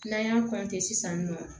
N'an y'a sisan nɔ